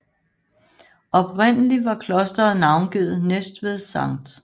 Oprindelig var klosteret navngivet Næstved Sct